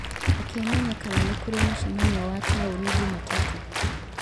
reke menye kana nĩ kũrĩ mũcemanio wa taũni Jumatatũ